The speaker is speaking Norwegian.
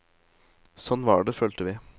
Sånn var det, følte vi.